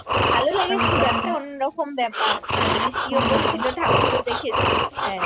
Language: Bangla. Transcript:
ভালো লেগেছিলো একটা অন্নরকম ব্যাপার আহ বৃষ্টিও পড়ছিলো ঠাকুর ও দেখেছি হ্যা